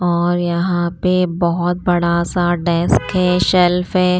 और यहाँ पे बहुत बड़ा सा डेस्क है शेल्फ है।